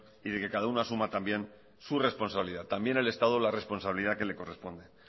y que cada uno asuma también su responsabilidad también el estado la responsabilidad que le corresponde